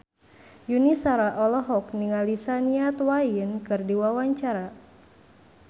Yuni Shara olohok ningali Shania Twain keur diwawancara